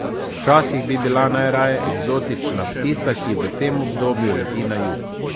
Včasih bi bila najraje eksotična ptica, ki v tem obdobju leti na jug.